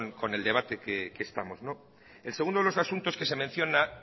con eso que con el debate que estamos el segundo de los asuntos que se menciona